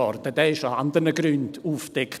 Er wurde aus anderen Gründen aufgedeckt.